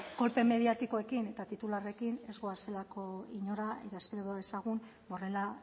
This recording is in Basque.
kolpe mediatikoekin eta titularrekin ez goazelako inora eta espero dezagun horrela